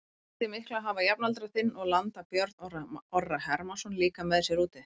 Breytir miklu að hafa jafnaldra þinn og landa Björn Orra Hermannsson líka með sér úti?